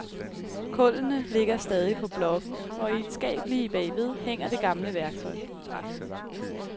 Kullene ligger stadig på blokken, og i et skab lige bagved hænger det gamle værktøj.